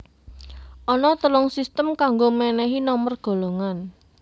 Ana telung sistem kanggo mènèhi nomer golongan